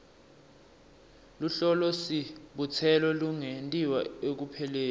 luhlolosibutselo lungentiwa ekupheleni